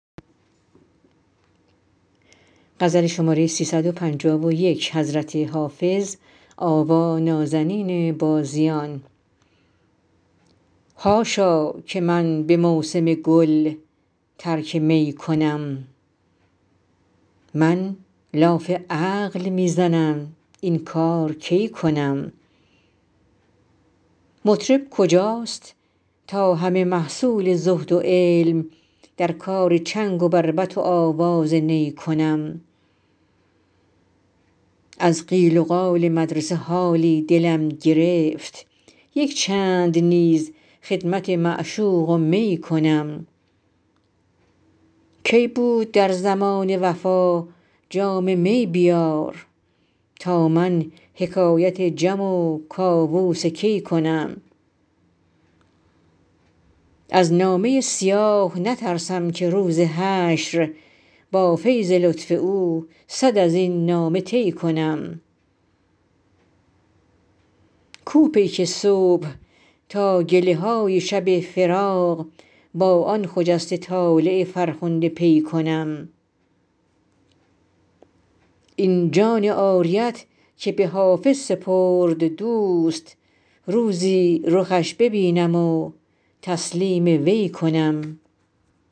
حاشا که من به موسم گل ترک می کنم من لاف عقل می زنم این کار کی کنم مطرب کجاست تا همه محصول زهد و علم در کار چنگ و بربط و آواز نی کنم از قیل و قال مدرسه حالی دلم گرفت یک چند نیز خدمت معشوق و می کنم کی بود در زمانه وفا جام می بیار تا من حکایت جم و کاووس کی کنم از نامه سیاه نترسم که روز حشر با فیض لطف او صد از این نامه طی کنم کو پیک صبح تا گله های شب فراق با آن خجسته طالع فرخنده پی کنم این جان عاریت که به حافظ سپرد دوست روزی رخش ببینم و تسلیم وی کنم